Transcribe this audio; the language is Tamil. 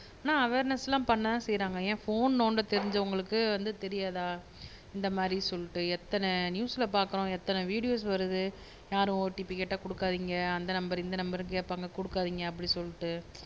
ஆனா அவேர்னெஸ்லாம் பண்ணதான் செய்யுறாங்க ஏன் ஃபோன் நோண்ட தெரிஞ்சவங்களுக்கு வந்து தெரியாதா இந்த மாதிரி சொல்லிட்டு எத்தன நியூஸ்ல பாக்குறோம் எத்தன வீடியோஸ் வருது யாரும் ஓடிபி கேட்டா குடுக்காதிங்க அந்த நம்பரு இந்த நம்பருனு கேப்பாங்க குடுக்காதிங்க அப்பிடி சொல்லிட்டு